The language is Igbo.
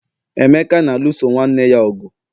emeka na-alụso nwanne ya ọgụ